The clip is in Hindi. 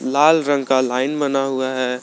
लाल रंग का लाइन बना हुआ है।